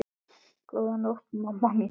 Góða nótt, mamma mín.